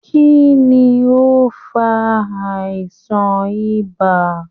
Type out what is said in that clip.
Kínní o n fà àìsàn ibà?.